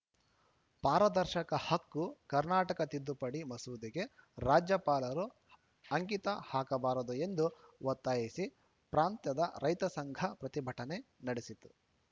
ಪಾರದರ್ಶಕ ಹಕ್ಕು ಕರ್ನಾಟಕ ತಿದ್ದುಪಡಿ ಮಸೂದೆಗೆ ರಾಜ್ಯಪಾಲರು ಅಂಕಿತ ಹಾಕಬಾರದು ಎಂದು ಒತ್ತಾಯಿಸಿ ಪ್ರಾಂತ ರೈತ ಸಂಘ ಪ್ರತಿಭಟನೆ ನಡೆಸಿತು